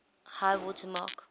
high water mark